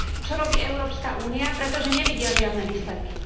Čo robí Európska únia, pretože nevidia žiadne výsledky.